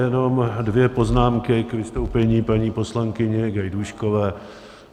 Jenom dvě poznámky k vystoupení paní poslankyně Gajdůškové.